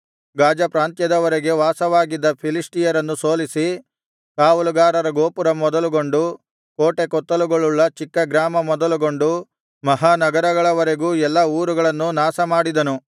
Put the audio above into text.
ಗಾಜ ಪ್ರಾಂತ್ಯದವರೆಗೆ ವಾಸವಾಗಿದ್ದ ಫಿಲಿಷ್ಟಿಯರನ್ನು ಸೋಲಿಸಿ ಕಾವಲುಗಾರರ ಗೋಪುರ ಮೊದಲುಗೊಂಡು ಕೋಟೆಕೊತ್ತಲುಗಳುಳ್ಳ ಚಿಕ್ಕಗ್ರಾಮ ಮೊದಲುಗೊಂಡು ಮಹಾನಗರಗಳವರೆಗೂ ಎಲ್ಲಾ ಊರುಗಳನ್ನು ನಾಶಮಾಡಿದನು